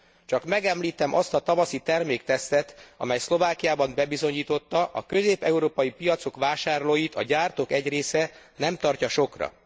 Csak megemlíteném azt a tavaszi terméktesztet, amely Szlovákiában bebizonyította, a közép európai piacok vásárlóit a gyártók egy része nem tartja sokra.